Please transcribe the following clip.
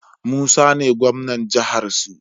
Musa ne gwamnan jahar su